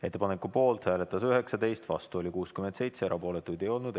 Ettepaneku poolt hääletas 19, vastu oli 67, erapooletuid ei olnud.